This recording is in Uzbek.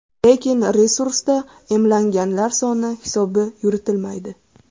Lekin resursda emlanganlar soni hisobi yuritilmaydi.